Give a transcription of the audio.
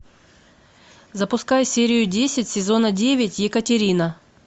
запускай серию десять сезона девять екатерина